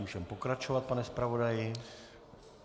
Můžeme pokračovat, pane zpravodaji.